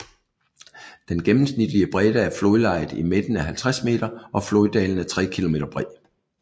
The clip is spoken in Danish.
Den gennemsnitlige bredde af flodlejet i midten er 50 m og floddalen er 3 km bred